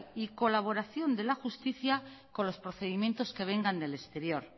y colaboración de la justicia con los procedimientos que vengan del exterior